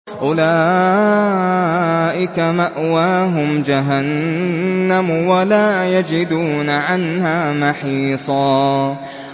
أُولَٰئِكَ مَأْوَاهُمْ جَهَنَّمُ وَلَا يَجِدُونَ عَنْهَا مَحِيصًا